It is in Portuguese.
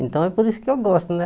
Então é por isso que eu gosto, né?